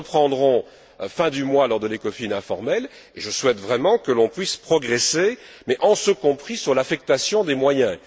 Nous le reprendrons fin du mois lors de l'Ecofin informel et je souhaite vraiment que l'on puisse progresser mais en ce compris sur l'affectation des moyens.